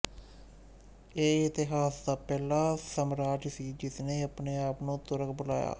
ਇਹ ਇਤਿਹਾਸ ਦਾ ਪਹਿਲਾ ਸਾਮਰਾਜ ਸੀ ਜਿਸਨੇ ਆਪਣੇ ਆਪ ਨੂੂੰ ਤੁਰਕ ਬੁਲਾਇਆ